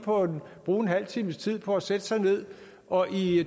bruge en halv times tid på at sætte sig ned og i